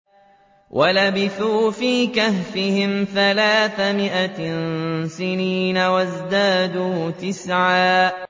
وَلَبِثُوا فِي كَهْفِهِمْ ثَلَاثَ مِائَةٍ سِنِينَ وَازْدَادُوا تِسْعًا